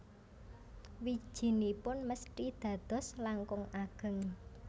Wijinipun mesthi dados langkung ageng